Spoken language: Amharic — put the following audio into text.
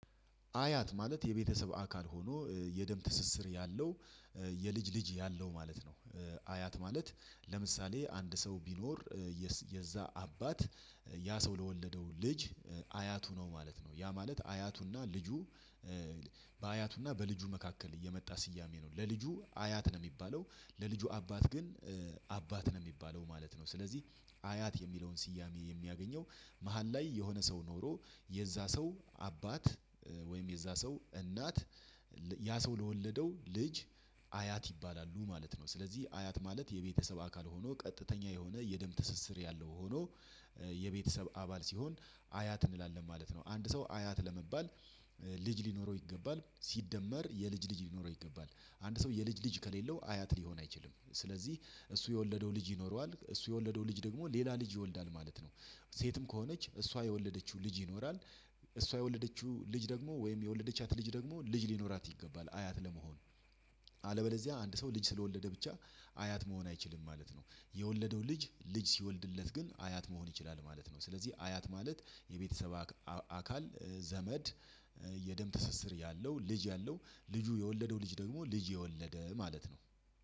አያት ማለት የቤተሰብ አካል ሆኖ የደም ትስስር ያለው የልጅ ልጅ ያለው ማለት ነው። አያት ማለት ለምሳሌ አንድ ሰው ቢኖር የዛ አባት ያ ሰው ለወለደው ልጅ። አያቱ ነው ማለት ነው ያ ማለት አያቱና ልጁ። በአያቱና በልጁ መካከል እየመጣ ስያሜ ነው ለልጁ አያት ነው የሚባለው። ለልጁ አባት ግን አባት ነው የሚባለው ማለት ነው። ስለዚህ አያት የሚለውን ስያሜ የሚያገኘው መሃል ላይ የሆነ ሰው ኖሮ የዛ ሰው አባት ወይም የዛ ሰው እናት። ያ ሰው ለወለደው ልጅ አያት ይባላሉ ማለት ነው። ስለዚህ አያት ማለት የቤተሰብ አካል ሆኖ ቀጥተኛ የሆነ የደም ትስስር ያለው ሆኖ። የቤተሰብ አባል ሲሆን አያት እንላለን ማለት ነው። አንድ ሰው አያት ለመባል ልጅ ሊኖረው ይገባል። ሲደመር የልጅ ልጅ ሊኖረው ይገባል። አንድ ሰው የልጅ ልጅ ከሌለው አያት ሊሆን አይችልም። ስለዚህ እሱ የወለደው ልጅ ይኖረዋል እሱ የወለደው ልጅ ደግሞ ሌላ ልጅ ይወልዳል ማለት ነው። ሴትም ከሆነች እሷ የወለደችው ልጅ ይኖራል። እሷ የወለደችው ልጅ ደግሞ ወይም የወለደቻት ልጅ ደግሞ ልጅ ሊኖራት ይገባል አያት ለመሆን። አለበለዚያ አንድ ሰው ልጅ ስለወለደ ብቻ አያት መሆን አይችልም ማለት ነው። የወለደው ልጅ ልጅ ሲወልድለት ግን አያት መሆን ይችላል ማለት ነው። ስለዚህ አያት ማለት የቤተሰብ አካል ዘመድ የደም ትስስር ያለው ልጅ ያለው ልጁ የወለደው ልጅ ደግሞ ልጅ የወለደ ማለት ነው።